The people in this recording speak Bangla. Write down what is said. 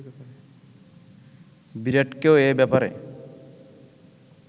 বিরাটকেও এ ব্যপারে